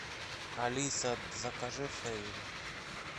алиса закажи фейри